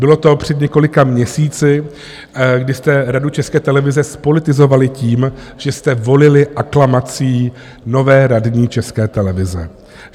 Bylo to před několika měsíci, kdy jste Radu České televize zpolitizovali tím, že jste volili aklamací nové radní České televize.